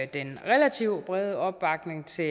den relativt brede opbakning til